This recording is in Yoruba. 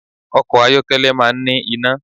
Ọkọ̀ ayọ́kẹ́lẹ́ máa ń ní iná